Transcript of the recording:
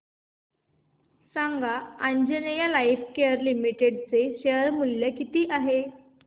सांगा Anjaneya lifecare limited चे share मूल्य किती आहे